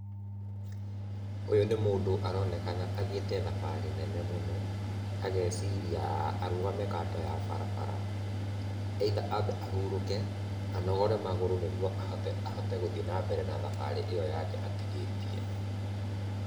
Ũyũ nĩ mũndũ aronekana athiĩte thabarĩ nene mũno, ageciria arugame kando ya barabara, either ambe ahurũke, anogore magũrũ nĩguo ahote gũthiĩ na mbere na thabarĩ ĩyo yake atigĩtie.